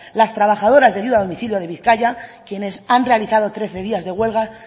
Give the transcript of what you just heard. las trabajadoras de ayuda a domicilio de bizkaia quienes han realizado trece días de huelga